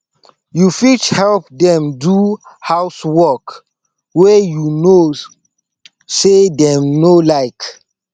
you fit help them do house wrok wey you know sey dem no like